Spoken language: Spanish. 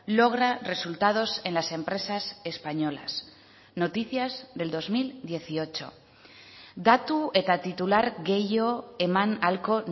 logra resultados en las empresas españolas noticias del dos mil dieciocho datu eta titular gehiago eman ahalko